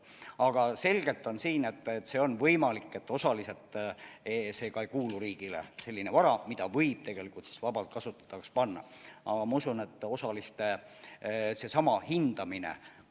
Aga selgelt on siin, et on võimalik, et see vara, mida võib vabaks kasutamiseks anda, ei kuulu osaliselt riigile.